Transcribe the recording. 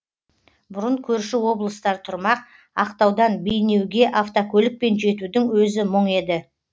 бұрын көрші облыстар тұрмақ ақтаудан бейнеуге автокөлікпен жетудің өзі мұң еді